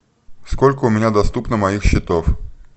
сколько у меня доступно моих счетов